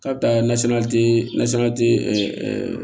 Kabila nasira nasira